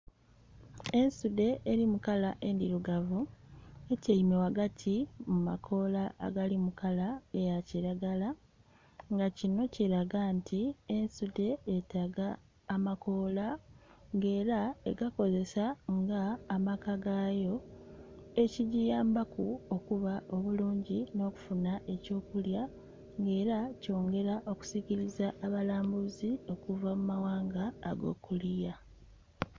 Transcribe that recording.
Ensudhe eri mu kala endhirugavu etyaime ghagati mu makoola agali mu kala eya kiragala, nga kino kiraga nti ensudhe yetaaga amakoola nga era egakozesa nga amaka gaayo, ekigiyambaku okuba obulungi n'okufuna eky'okulya nga era kyongera okusikiriza abalambuzi okuva mu maghanga ag'okuliya.